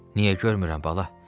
Niyə görmürəm, bala?